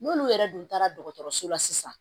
N'olu yɛrɛ dun taara dɔgɔtɔrɔso la sisan